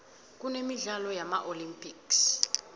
kunemidlalo yama olympics